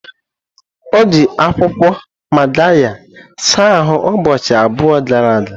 O ji akwụkwọ magarya saa ahụ ụbọchị abụọ gara aga.